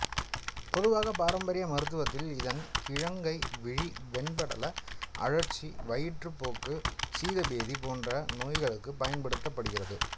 பொதுவாக பாரம்பரிய மருத்துவத்தில் இதன் கிழங்கை விழி வெண்படல அழற்சி வயிற்றுப்போக்கு சீதபேதி போன்ற நோய்களுக்கு பயன்படுத்தப்படுகிறது